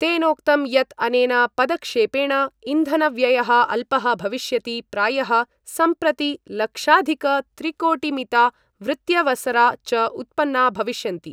तेनोक्तं यत् अनेन पदक्षेपेण इन्धनव्ययः अल्पः भविष्यति प्रायः संप्रति लक्षाधिकत्रिकोटिमिता वृत्यवसरा च उत्पन्ना भविष्यन्ति।